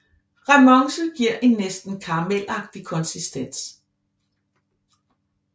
Remonce giver en næsten karamelagtig konsistens